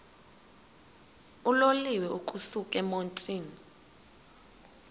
uloliwe ukusuk emontini